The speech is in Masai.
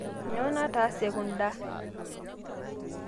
Nyoo nataase kundaa?